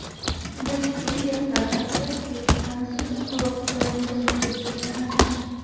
Bastiliya qal’asi Buyuk fransuz inqilobi davomida buzib tashlanadi.